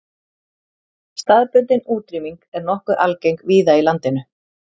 Staðbundin útrýming er nokkuð algeng víða í landinu.